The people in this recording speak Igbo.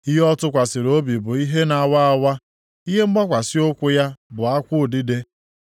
Ihe ọ tụkwasịrị obi bụ ihe na-awa awa; ihe mgbakwasị ụkwụ ya bụ akwụ udide.